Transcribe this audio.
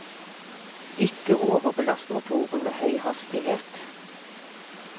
Ikke overbelast motoren med høy hastighet.